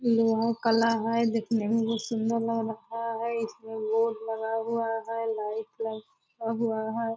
लोहा काला है देखने में बहुत सुंदर लग रखा है इसमें बोर्ड लगा हुआ है लाइट लगा हुआ है।